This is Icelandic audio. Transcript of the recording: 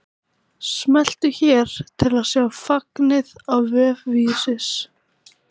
Smelltu hér til að sjá fagnið á vef Vísis